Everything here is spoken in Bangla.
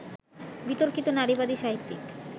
বিতর্কিত নারীবাদী সাহিত্যিক